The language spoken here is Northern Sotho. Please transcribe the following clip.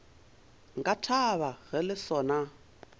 nka thaba ge le sona